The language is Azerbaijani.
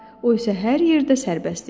O isə hər yerdə sərbəst idi.